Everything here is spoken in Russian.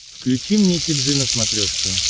включи мне ти джи на смотрешке